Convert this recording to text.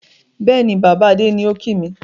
Bẹ́ẹ̀ni, Baba Adé ni ó kìì mi.